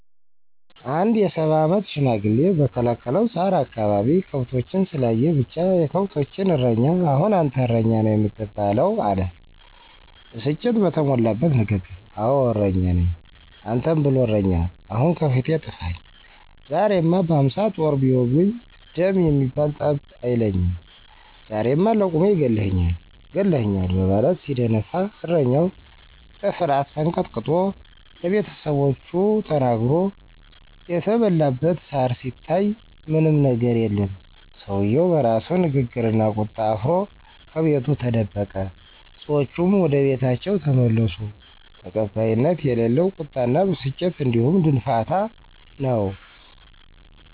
አንድ የ፸ አመት ሽማግሌ በከለከለው ሳር አካባቢ ከብቶችን ስላየ ብቻ፤ የከብቶችን እረኛ አሁን አንተ እረኛ ነው የምትባለው! አለ ብስጭት በተሞላበት ንግግር። አወ እረኛ ነኝ። አንተን ብሎ እረኛ ! አሁን ከፊቴ ጥፈኝ! ዛሬማ በ፶ ጦር ቢወጉኝ ደም የሚባል ጠብ አይለኝም! ዛሬማ ለቁሜ ገለህኛል! ገለህኛል! በማለት ሲደነፋ እረኛው በፍርሀት ተንቀጥቅጦ ለቤተሰቦቹ ተናግሮ የተበላበት ሳር ሲታይ ምንም የገር የለም። ሰውየው በራሱ ንግግርና ቁጣ አፍሮ ከቤቱ ተደበቀ። ሰዎቹም ወደቤታቸው ተመለሱ። ተቀባይነት የሌለው ቁጣና ብስጭት እንዲሁም ድንፋታ ነው።